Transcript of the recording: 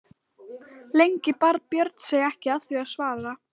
Lengi bar Björn sig ekki að því að svara.